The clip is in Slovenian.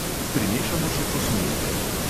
Pirmešamo še kosmulje.